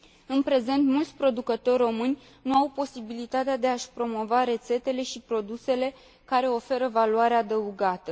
În prezent, mulți producători români nu au posibilitatea de a și promova rețetele și produsele care oferă valoare adăugată.